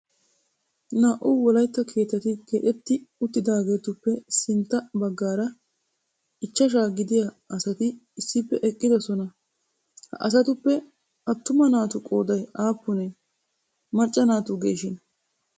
Naa"u wolaytta keettati keexxetti uttidaageetuppe sintta baggaara ichashsha gidiya asati issippe eqqidoosona. Ha asatuppe attuma naatu qooday aappune? Macca naatugeshin?